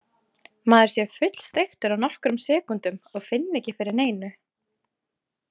Maður sé fullsteiktur á nokkrum sekúndum og finni ekki fyrir neinu.